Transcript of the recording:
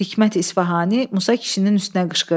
Hikmət İsfahani Musa kişinin üstünə qışqırdı.